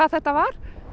þetta var